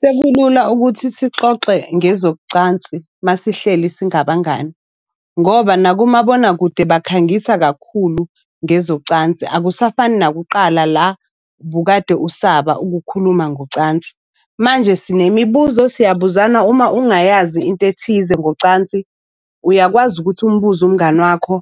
Sekulula ukuthi sixoxe ngezocansi masihleli singabangani, ngoba nakumabonakude bakhangisa kakhulu ngezocansi. Akusafani nakuqala la bukade usaba ukukhuluma ngocansi. Manje sinemibuzo siyabuzana uma ungayazi into ethize ngocansi, uyakwazi ukuthi umbuze umngani wakho